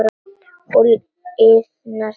Og liðna tíð.